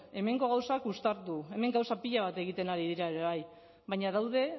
hemengo gauzak uztartu hemen gauza pila bat egiten ari dira ere bai baina daude